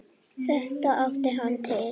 Þetta átti hann til.